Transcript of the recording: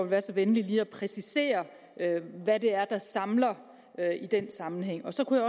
være så venlig lige at præcisere hvad det er der samler i den sammenhæng så kunne